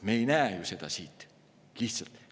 Me ei näe ju seda kõike siit.